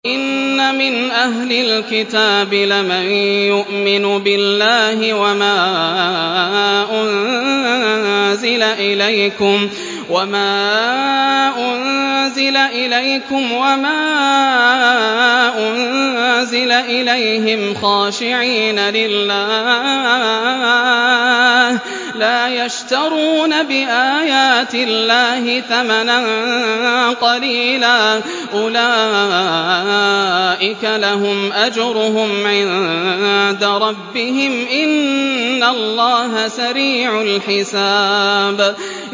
وَإِنَّ مِنْ أَهْلِ الْكِتَابِ لَمَن يُؤْمِنُ بِاللَّهِ وَمَا أُنزِلَ إِلَيْكُمْ وَمَا أُنزِلَ إِلَيْهِمْ خَاشِعِينَ لِلَّهِ لَا يَشْتَرُونَ بِآيَاتِ اللَّهِ ثَمَنًا قَلِيلًا ۗ أُولَٰئِكَ لَهُمْ أَجْرُهُمْ عِندَ رَبِّهِمْ ۗ إِنَّ اللَّهَ سَرِيعُ الْحِسَابِ